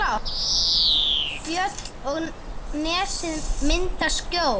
Fjöll og nesið mynda skjól.